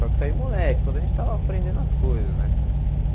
Só que isso aí, moleque, quando a gente estava aprendendo as coisas, né?